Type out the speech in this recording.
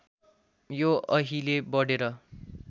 यो अहिले बढेर